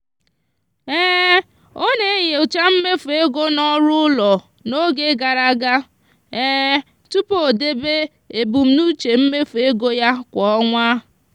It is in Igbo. ọ na-enyocha mmefu ego n'ọrụ ụlọ n'oge gara aga tupu o debe ebumnuche mmefu ego ya kwa ọnwa.